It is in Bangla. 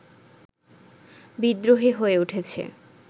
বিদ্রোহী হয়ে উঠেছে